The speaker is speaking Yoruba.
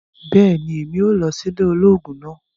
bẹẹni, Èmí óò lọ si ile ológun náà